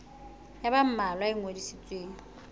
ya ba mmalwa e ngodisitsweng